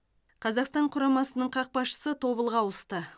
қазақстан құрамасының қақпашысы тобылға ауысты